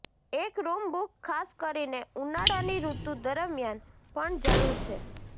એક room book ખાસ કરીને ઉનાળાની ઋતુ દરમિયાન પણ જરૂર છે